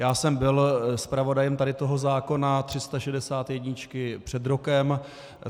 Já jsem byl zpravodajem tady toho zákona 361 před rokem.